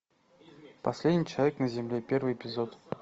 последний человек на земле первый эпизод